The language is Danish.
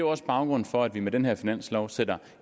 også baggrunden for at vi med den her finanslov sætter